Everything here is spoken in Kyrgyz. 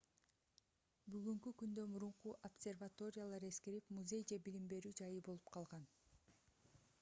бүгүнкү күндө мурунку обсерваториялар эскирип музей же билим берүү жайы болуп калган